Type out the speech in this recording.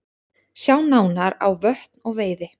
Sjá nánar á Vötn og veiði